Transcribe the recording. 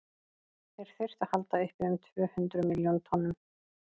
þeir þyrftu að halda uppi um tvö hundruð milljón tonnum